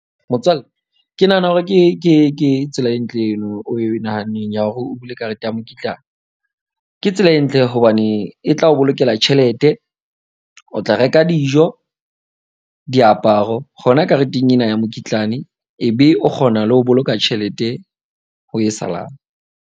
Motswalle ke nahana hore ke tsela e ntle eno o e nahaneng ya hore o bule karete ya mokitlane. Ke tsela e ntle hobane e tla o bolokela tjhelete. O tla reka dijo, diaparo hona kareteng ena ya mokitlane. Ebe o kgona le ho boloka tjhelete ho e salang.